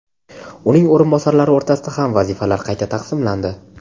uning o‘rinbosarlari o‘rtasida ham vazifalar qayta taqsimlandi.